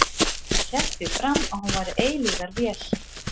Hann hélt því fram að hún væri eilífðarvél.